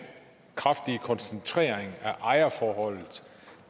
kraftige koncentration af ejerforholdet